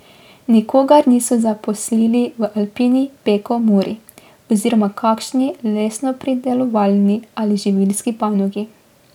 Nikogar niso zaposlili v Alpini, Peku, Muri oziroma kakšni lesnopredelovalni ali živilski panogi.